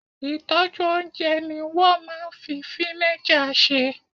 ìtọ́jú oúnjẹ ni wo maa n fi vinegar se